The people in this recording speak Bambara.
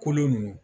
Kolo ninnu